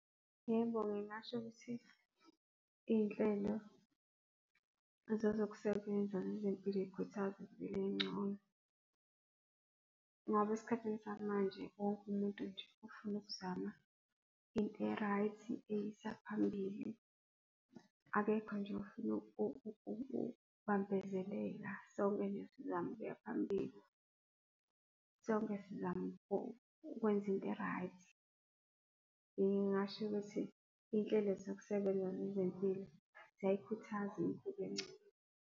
Yebo, ngingasho ukuthi izinhlelo ezazokusebenza ngezempilo zikhuthaza impilo engcono. Ngoba esikhathini samanje wonke umuntu nje ufuna ukuzama into e-right, eyisaphambili. Akekho nje ofuna ukubambezeleka. Sonke sizama ukuya phambili, sonke sizama ukwenza into e-right. Ngingasho ukuthi izinhlelo zokusebenza ngezempilo ziyayikhuthaza impilo engcono.